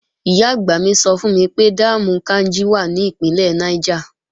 Ìyá-àgbà mi sọ fún mi pé dáàmù Káínjí wà ní Ìpínlẹ̀ Niger